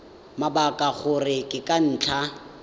mabaka gore ke ka ntlha